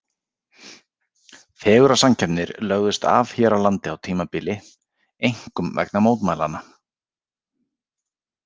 Fegurðarsamkeppnir lögðust af hér á landi á tímabili, einkum vegna mótmælanna.